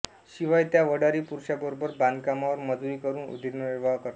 शिवाय त्या वडारी पुरुषांबरोबर बांधकामावर मजुरी करून उदरनिर्वाह करतात